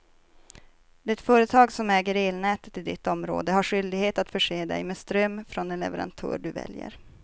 Det företag som äger elnätet i ditt område har skyldighet att förse dig med ström från den leverantör du väljer.